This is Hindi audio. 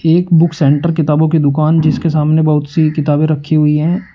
एक बुक सेंटर किताबो की दुकान जिसके सामने बहुत सी किताबे रखी हुई है।